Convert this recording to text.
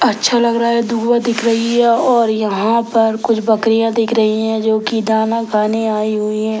अच्छा लग रहा है धुवा दिख रही है और यहाँ पर कुछ बकरिया दिख रही हैं जो की दाना खाने आयी हुई हैं।